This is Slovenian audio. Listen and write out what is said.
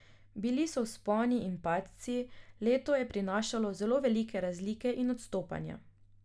Bili so vzponi in padci, leto je prinašalo zelo velike razlike in odstopanja.